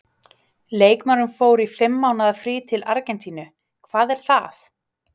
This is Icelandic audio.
Leikmaðurinn fór í fimm mánaða frí til Argentínu- hvað er það?